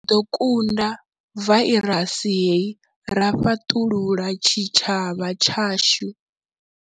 Ri ḓo kunda vairasi hei ra fhaṱulula tshitshavha tshashu.